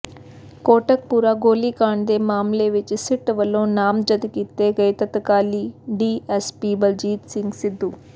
ਕੋਟਕਪੁਰਾ ਗੋਲੀਕਾਂਡ ਦੇ ਮਾਮਲੇ ਵਿਚ ਸਿੱਟ ਵੱਲੋਂ ਨਾਮਜ਼ਦ ਕੀਤੇ ਗਏ ਤਤਕਾਲੀ ਡੀਐਸਪੀ ਬਲਜੀਤ ਸਿੰਘ ਸਿੱਧੂ